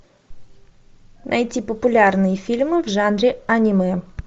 найти популярные фильмы в жанре аниме